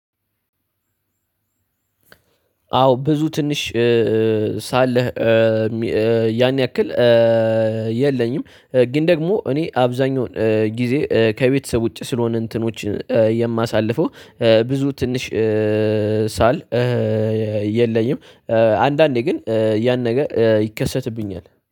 አዎ ብዙ ትንሽ ሳለህ ያን ያክል የለኝም። ግን ደግሞ እኔ አብዛኛውን ጊዜ ከቤተሰብ ውጪ ስለሆነ እንትኖች የማሳልፈው ብዙ ትንሽ ሳል የለኝም። አንዳንዴ ግን ያን ነገር ይከሰትብኛል